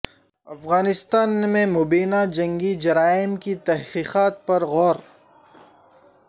افغانستان میں مبینہ جنگی جرائم کی تحقیقات پر غور